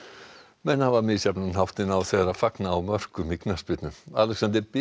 menn hafa misjafnan háttinn á þegar fagna á mörkum í knattspyrnu Alexander